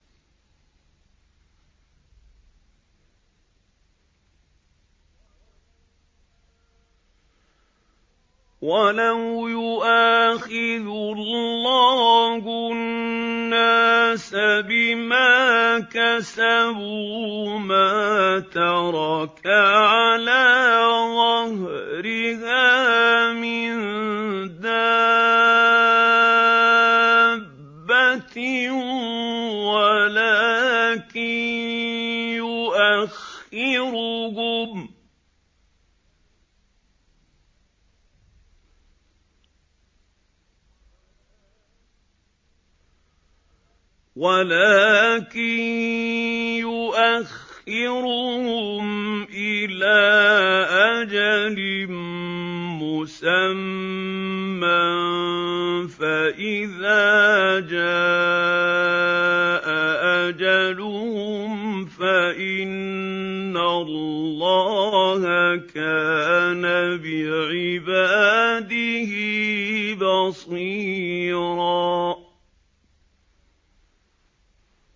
وَلَوْ يُؤَاخِذُ اللَّهُ النَّاسَ بِمَا كَسَبُوا مَا تَرَكَ عَلَىٰ ظَهْرِهَا مِن دَابَّةٍ وَلَٰكِن يُؤَخِّرُهُمْ إِلَىٰ أَجَلٍ مُّسَمًّى ۖ فَإِذَا جَاءَ أَجَلُهُمْ فَإِنَّ اللَّهَ كَانَ بِعِبَادِهِ بَصِيرًا